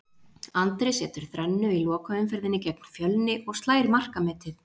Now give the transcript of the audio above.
Andri setur þrennu í lokaumferðinni gegn Fjölni og slær markametið.